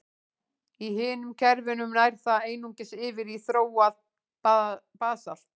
Í hinum kerfunum nær það einungis yfir í þróað basalt.